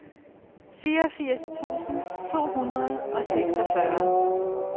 fireogfirs tusind to hundrede og seksogfyrre